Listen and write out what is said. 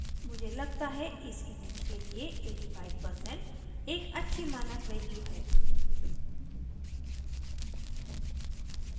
मुझे लगता है इस image के लिए 85% एक अच्छी मानक value है